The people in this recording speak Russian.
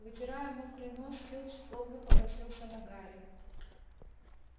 вытирая мокрый нос филч злобно покосился на гарри